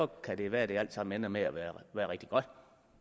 kan det være det alt sammen ender med at være rigtig godt